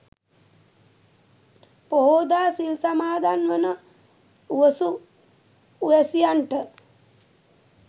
පොහෝදා සිල් සමාදන් වන උවසු උවැසියන්ට